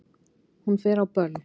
Hún fer á böll!